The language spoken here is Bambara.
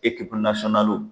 Ekipu nasɔnnaliw